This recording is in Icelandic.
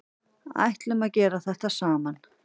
Ætluðum að gera þetta saman